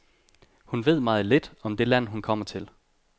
Hun ved meget lidt om det land, hun kommer til.